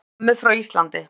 Össur-Mömmu frá Íslandi.